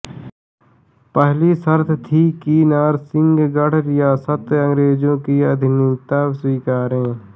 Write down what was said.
पहली शर्त थी कि नरसिंहगढ़ रियासत अंग्रेजों की अधीनता स्वीकारे